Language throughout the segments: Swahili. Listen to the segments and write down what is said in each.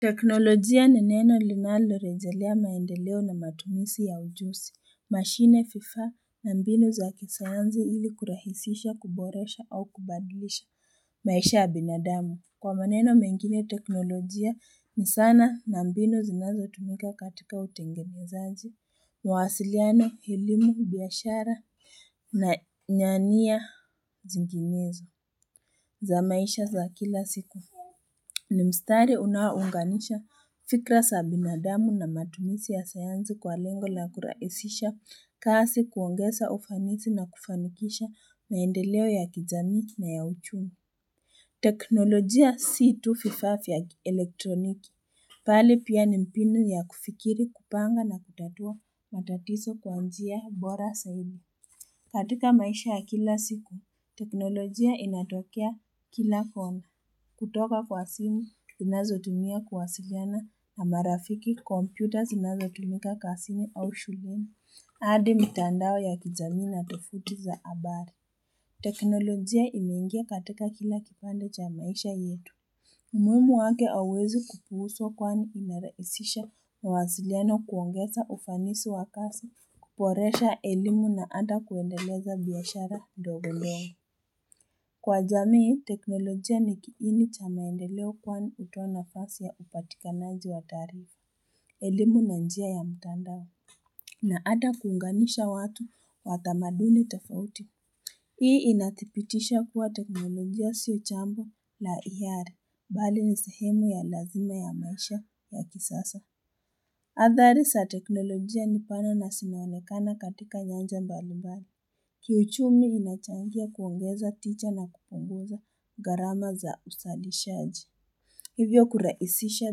Teknolojia ni neno linalorejelea maendeleo na matumisi ya ujusi, mashine vifaa na mbinu za kisayansi ili kurahisisha, kuboresha au kubadlisha maisha ya binadamu. Kwa maneno mengine, teknolojia ni sana na mbinu zinazotumika katika utengenezaji, mawasiliano, elimu, biashara na nyania zinginezo za maisha za kila siku. Ni mstari unaounganisha fikra za binadamu na matumisi ya sayansi kwa lengo la kurahisisha kazi kuongeza ufanisi na kufanikisha maendeleo ya kijamii na ya uchumi. Teknolojia si tu vifa vya elektroniki. Pali pia ni mbinu ya kufikiri kupanga na kutatua matatizo kwa njia bora zaidi. Katika maisha ya kila siku, teknolojia inatokea kila kona. Kutoka kwa simu, tunazotumia kuwasiliana na marafiki, kompyuta zinazotumika kwa simu au shuleni. Hadi mtandao ya kijamii na tovuti za habari. Teknolojia inaingia katika kila kipande cha maisha yetu. Umuhimu wake hauwezi kupuuzwa kwani inarahisisha mawasiliano kuongeza ufanisi wa kazi kuboresha elimu na hata kuendeleza biashara ndogo ndogo. Kwa jamii, teknolojia ni kiini cha maendeleo kwani hutoa nafasi ya upatikanaji wa taarifa. Elimu na njia ya mtandao na hata kuunganisha watu wa tamaduni tofauti Hii inadhibitisha kuwa teknolojia sio jambo la hiari, bali ni sehemu ya lazima ya maisha ya kisasa. Athari za teknolojia ni pana na zinaonekana katika nyanja mbalimbali. Kiuchumi inachangia kuongeza ticha na kupunguza gharama za uzalishaji. Hivyo kuraisisha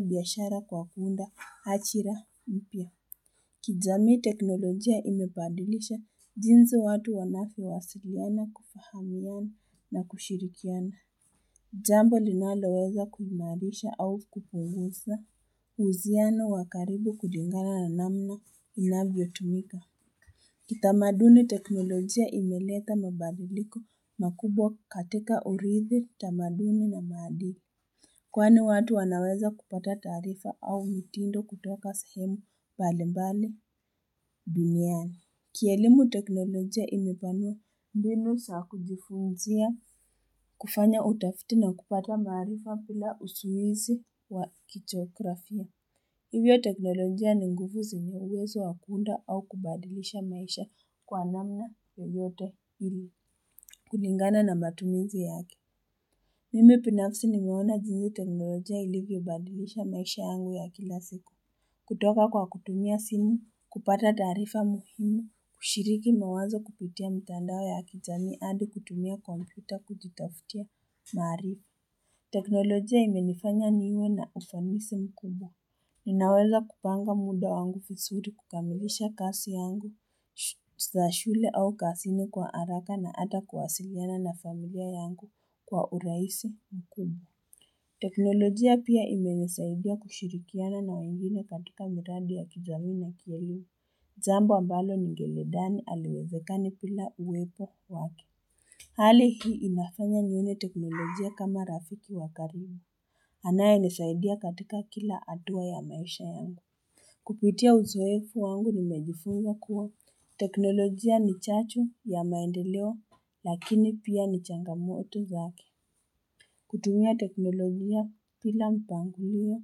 biashara kwa kuunda hajira mpya. Kijamii teknolojia imebadilisha, jinzi watu wanavyo wasiliana kufahamiana na kushirikiana. Jambo linaloweza kuhimarisha au kupunguza, uhusiano wa karibu kulingana na namna inavyotumika. Kitamaduni teknolojia imeleta mabadiliko makubwa katika uridhi tamaduni na maadili. Kwani watu wanaweza kupata taarifa au mitindo kutoka sahemu bali mbali duniani. Kielimu teknolojia imepanua mbinu za kujifunzia kufanya utafiti na kupata maarifa bila usuizi wa kichografia. Hivyo teknolojia ni nguvu zenye uwezo wa kuunda au kubadilisha maisha kwa namna yoyote ili kulingana na matumizi yake. Mimi binafsi nimeona jinsii teknolojia ilivyobadilisha maisha yangu ya kila siku kutoka kwa kutumia simu kupata taarifa muhimu kushiriki mawazo kupitia mtandao ya kijamii hadi kutumia kompyuta kujitafutia maarifa teknolojia imenifanya niwe na ufanisi mkubwa Ninaweza kupanga muda wangu vizuri kukamilisha kazi yangu za shule au kazini kwa haraka na hata kuwasiliana na familia yangu kwa urahisi mkubwa teknolojia pia imenisaidia kushirikiana na wengine katika miradi ya kijamii na kielimu Jambo ambalo ningelidhani haliwezekani bila uwepo wake Hali hii inafanya nione teknolojia kama rafiki wa karibu Anayenisaidia katika kila hatua ya maisha yangu kupitia uzoefu wangu nimejifunza kuwa teknolojia ni chacho ya maendelewa lakini pia ni changamoto zake kutumia teknolojia bila mpangilio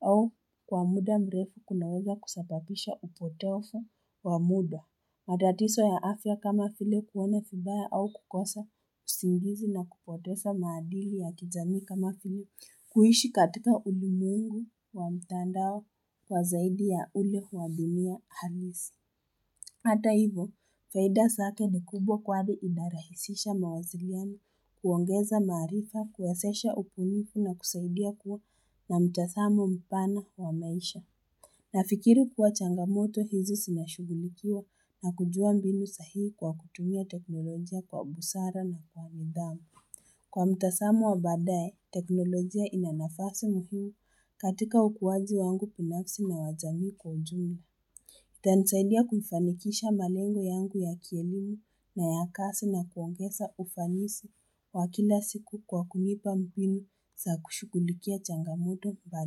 au kwa muda mrefu kunaweza kusababisha upotovu wa muda. Matatizo ya afya kama vile kuona vibaya au kukosa usingizi na kupoteza maadili ya kijamii kama vile kuishi katika ulimwengu wa mtandao kwa zaidi ya ule wa dunia halisi. Hata hivo, faida zake ni kubwa kwani inarahisisha mawasiliani kuongeza maarifa, kuwezesha ubunifu na kusaidia kuwa na mtazamo mpana wa maisha. Nafikiri kuwa changamoto hizi zinashughulikiwa na kujua mbinu sahihi kwa kutumia teknolojia kwa busara na kwa nidhamu. Kwa mtazamo wa baadaye teknolojia ina nafasi m katika ukuwaji wangu binafsi na wa jamii kwa ujumla. Itanisaidia kuifanikisha malengo yangu ya kielimu na ya kazi na kuongeza ufanisi wa kila siku kwa kunipa mbinu za kushughulikia changamoto pale.